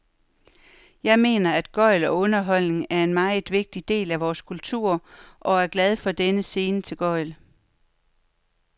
Jeg mener, at gøgl og underholdning er en meget vigtig del af vores kultur, og er glad for denne scene til gøgl.